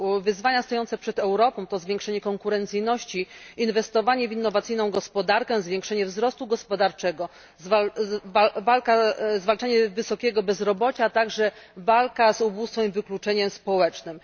Wyzwania stojące przed Europą to zwiększenie konkurencyjności, inwestowanie w innowacyjną gospodarkę, zwiększenie wzrostu gospodarczego, zwalczanie wysokiego bezrobocia, a także walka z ubóstwem i wykluczeniem społecznym.